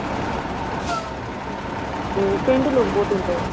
ਹੂੰ ਪੇਂਡੂ ਲੋਕ ਬਹੁਤ ਹੁੰਦਾ ਏ